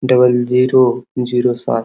double zero zero सात --